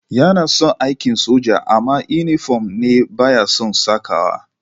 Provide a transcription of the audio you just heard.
Yana son aikin soja amma inifom ne ba ya san sakawa